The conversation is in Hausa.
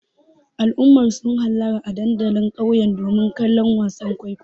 Al'ummar sun hallara a dandalin ƙauye domin ganin wasan kwaikwayon.